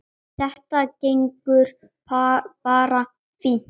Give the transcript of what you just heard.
Þetta gengur bara fínt.